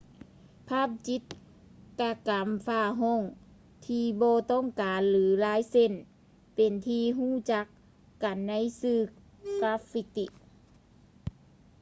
ພາບຈິດຕະກໍາຝາຫ້ອງທີ່ບໍ່ຕ້ອງການ ຫຼື ລາຍເສັ້ນເປັນທີ່ຮູ້ຈັກກັນໃນຊື່ ກາຟຟິຕິ